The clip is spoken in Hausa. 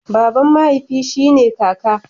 Baban mahaifi shi ne kaka.